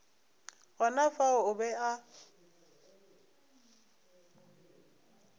gona fao o be a